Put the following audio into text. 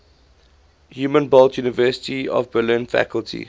humboldt university of berlin faculty